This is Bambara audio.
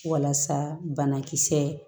Walasa banakisɛ